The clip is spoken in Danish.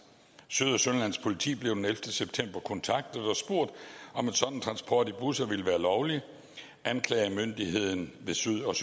syd og sønderjyllands politi blev den ellevte september kontaktet og spurgt om en sådan transport i busser ville være lovlig anklagemyndigheden ved syd og